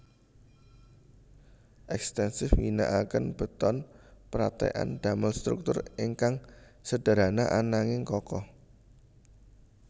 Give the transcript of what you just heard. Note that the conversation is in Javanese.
Ekstensif ngginakaken beton pratekan damel struktur ingkang sederhana ananging kokoh